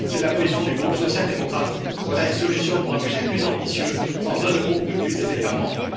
C'est la position du groupe social démocrate voilà une solution pour un budget plus ambitieux, sans un euro de plus des États membres.